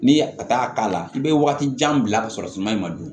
N'i ye a t'a k'a la i bɛ waati jan bila ka sɔrɔ suma in ma don